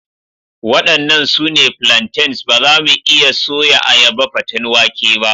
Waɗannan su ne plantains, ba za mu iya soya ayaba paten wake ba.